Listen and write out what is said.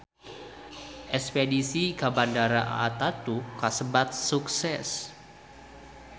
Espedisi ka Bandara Ataturk kasebat sukses